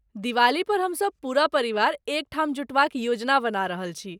दिवाली पर हम सब पूरा परिवार एकठाम जुटबाक योजना बना रहल छी।